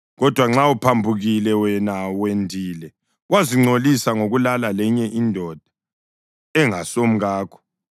Kodwa nxa uphambukile wena wendile wazingcolisa ngokulala lenye indoda engasumkakho,”